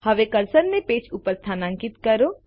હવે કર્સરને પેજ ઉપર સ્થાન્કિત કરો